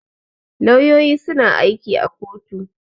Lauyoyi suna aiki a kotu.